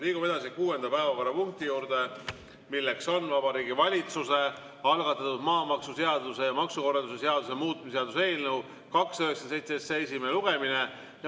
Liigume edasi kuuenda päevakorrapunkti juurde, milleks on Vabariigi Valitsuse algatatud maamaksuseaduse ja maksukorralduse seaduse muutmise seaduse eelnõu 297 esimene lugemine.